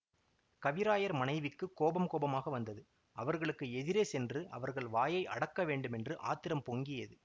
கவிராயர் மனைவிக்குக் கோபம் கோபமாக வந்தது அவர்களுக்கு எதிரே சென்று அவர்கள் வாயை அடக்க வேண்டுமென்று ஆத்திரம் பொங்கியது